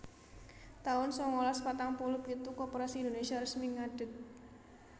taun sangalas patang puluh pitu Koperasi Indonesia resmi ngadeg